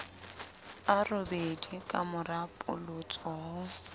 a robedi kamora polotso ho